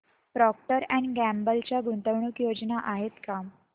Procter and Gamble च्या गुंतवणूक योजना आहेत का